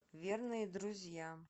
верные друзья